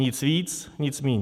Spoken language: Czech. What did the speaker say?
Nic víc, nic míň.